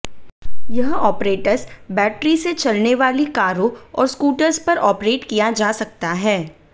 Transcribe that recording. यह apparatus battery से चलने वाली कारों और स्कूटर्स पर ऑपरेट किया जा सकता है